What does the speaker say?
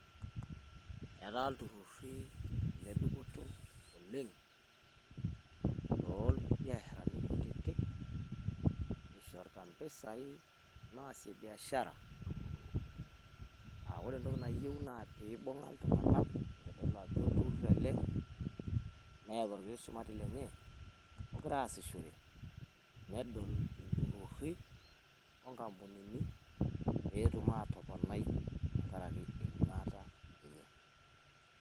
Etaa ilturruri Ile dupoto oleng too ilbiasharani kutitik ishorita mpisai naasie biashara. Aa ore entoki nayieu naa pee ibung'a iltung'anak itodolu ajo olturr ele, neeta olkiti shumati lenye ogira aasishore. Nedol ilturruri o nkampunini pee etum aatoponai tenkaraki enyuata enye.